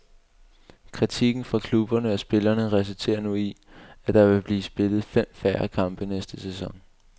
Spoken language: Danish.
Kritikken fra klubberne og spillerne resulterer nu i, at der vil blive spillet fem færre kampe næste sæson.